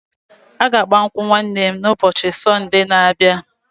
A ga-agba nkwụ nwanne m na ụbọchị Sonde n'abia